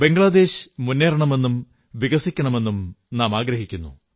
ബംഗ്ളാദേശ് മുന്നേറണമെന്നും വികസിക്കണമെന്നും നാം ആഗ്രഹിക്കുന്നു